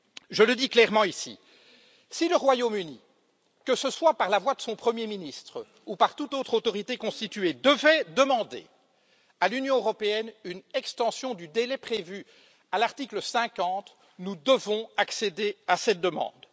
Je le dis clairement ici si le Royaume Uni, que ce soit par la voix de son premier ministre ou par toute autre autorité constituée, devait demander à l'Union européenne une extension du délai prévu à l'article 50, nous devons accéder à cette demande.